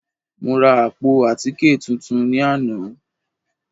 Mo ra àpò àtíkè tuntun ní àná